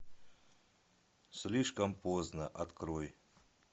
слишком поздно открой